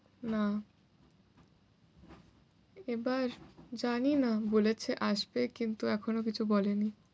না। এবার জানিনা, বলেছে আসবে কিন্তু এখনো কিছু বলেনি।